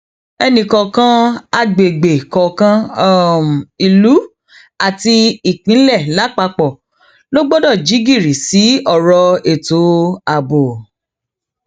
ẹnìkọọkan àgbègbè kọọkan um ìlú àti ìpínlẹ lápapọ la gbọdọ um jí gìrì sí ọrọ ètò ààbò